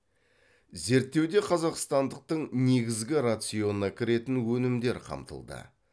зерттеуде қазақстандықтың негізгі рационына кіретін өнімдер қамтылды